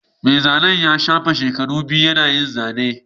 Mai zanen ya shafe shekaru biyu yana yin zane